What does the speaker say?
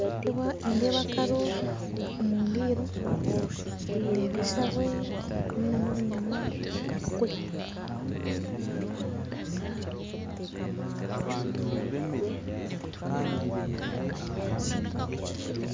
Nindeeba akaro omundiiro ndeeba eshabwe harumu n'obunyama omukabakuri.